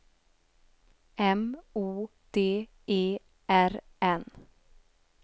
M O D E R N